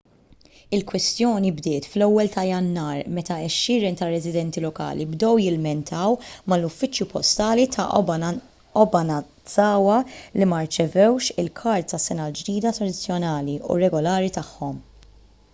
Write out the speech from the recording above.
il-kwistjoni bdiet fl-1 ta' jannar meta għexieren ta' residenti lokali bdew jilmentaw mal-uffiċċju postali ta' obanazawa li ma rċevewx il-kards tas-sena l-ġdida tradizzjonali u regolari tagħhom